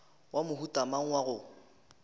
wa mohuta mang wa go